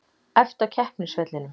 Æft á keppnisvellinum